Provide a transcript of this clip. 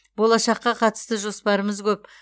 болашаққа қатысты жоспарымыз көп